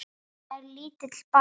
Þetta er lítill bær.